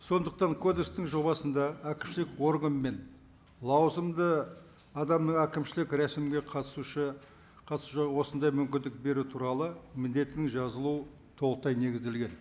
сондықтан кодекстің жобасында әкімшілік орган мен лауазымды адам әкімшілік рәсімге қатысушы қатысушы осындай мүмкіндік беру туралы міндетін жазылуы толықтай негізделген